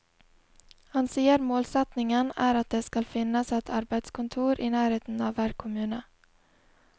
Han sier målsettingen er at det skal finnes et arbeidskontor i nærheten av hver kommune.